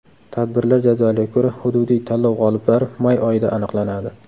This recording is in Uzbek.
Tadbirlar jadvaliga ko‘ra, hududiy tanlov g‘oliblari may oyida aniqlanadi.